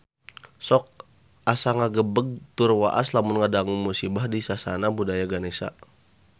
Sok asa ngagebeg tur waas lamun ngadangu musibah di Sasana Budaya Ganesha